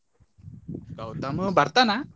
ಗೌತಮ್ ಬರ್ತಾನ?